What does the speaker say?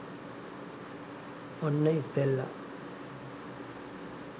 ඔන්න ඉස්සෙල්ල